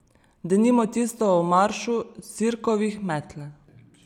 Denimo tisto o maršu sirkovih metel.